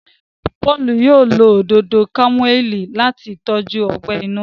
Paul yóò ló Òdòdó kámúmáìlì láti tọjú ogbè inú